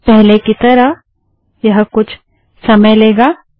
पहले कि तरह यह कुछ समय लेगा